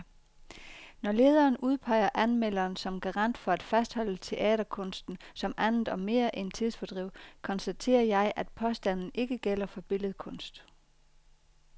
Når lederen udpeger anmelderen som garant for at fastholde teaterkunsten som andet og mere end tidsfordriv, konstaterer jeg, at påstanden ikke gælder for billedkunst.